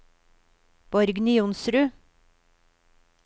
Borgny Johnsrud